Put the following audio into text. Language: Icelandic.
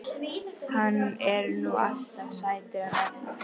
Hann er nú alltaf sætur hann Arnar.